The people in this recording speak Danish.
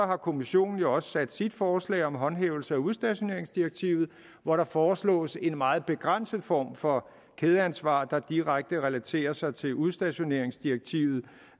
har kommissionen jo også sit forslag om håndhævelse af udstationeringsdirektivet hvor der foreslås en meget begrænset form for kædeansvar der direkte relaterer sig til udstationeringsdirektivet